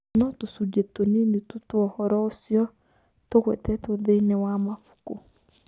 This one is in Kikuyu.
No tũcunjĩ tũnini tu twa ũhoro ũcio tũgwetetwo thĩinĩ wa mabuku.